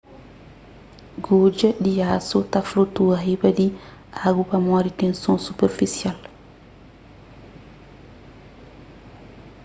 gudja di asu ta flutua riba di agu pamodi tenson superfisial